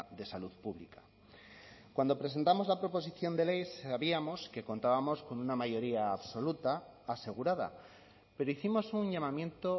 de salud pública cuando presentamos la proposición de ley sabíamos que contábamos con una mayoría absoluta asegurada pero hicimos un llamamiento